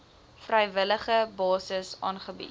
vrywillige basis aangebied